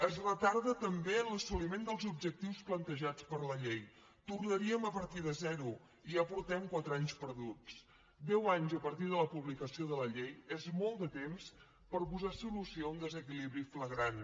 es retarda també l’assoliment dels objectius plantejats per la llei tornaríem a partir de zero i ja portem quatre anys perduts deu anys a partir de la publicació de la llei és molt de temps per posar solució a un desequilibri flagrant